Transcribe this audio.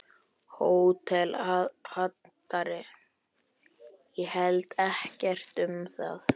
HÓTELHALDARI: Ég held ekkert um það.